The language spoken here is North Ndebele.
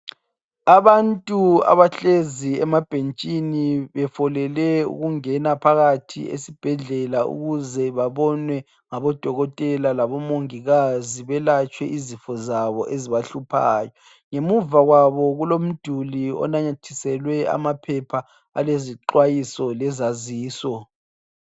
Abantu abahlezi emabhentshini befolele ukungena phakathi esibhedlela ukuze babonwe ngabodokotela labomongikazi belatshwe izifo zabo ezibahluphayo. Ngemuva kwabo kulomduli onanyathiselwe amaphepha alezixwayiso lezaziso.